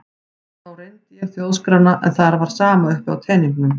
Þá reyndi ég þjóðskrána en þar var sama uppi á teningnum.